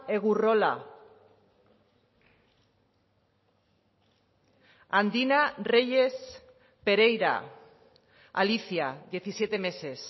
egurrola andina reyes pereira alicia diecisiete meses